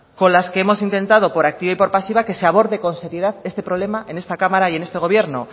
con las que hemos intentado por activa y por pasiva que se aborde con seriedad este problema en esta cámara y en este gobierno